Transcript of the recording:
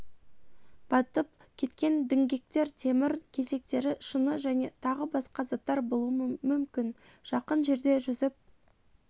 батып кеткен діңгектер темір кесектері шыны және тағы басқа заттар болуы мүмкін жақын жерде жүзіп